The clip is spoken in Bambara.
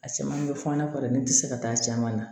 A caman bɛ fɔ n'a fɔ dɛ n tɛ se ka taa caman na